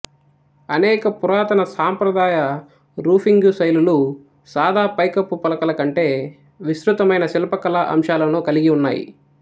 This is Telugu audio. అనేక పురాతన సాంప్రదాయ రూఫింగు శైలులు సాదా పైకప్పు పలకల కంటే విస్తృతమైన శిల్పకళా అంశాలను కలిగి ఉన్నాయి